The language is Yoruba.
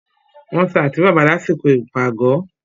wọ́n ta àtíbàbà lásìkò ìpàgọ́.